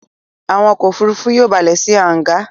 Àwọn ọkọ̀-òfurufú yóò balẹ̀ sí hángà